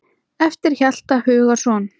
eftir Hjalta Hugason